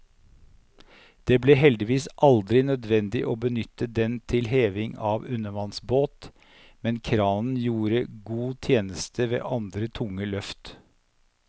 Det ble heldigvis aldri nødvendig å benytte den til heving av undervannsbåt, men kranen gjorde god tjeneste ved andre tunge løft.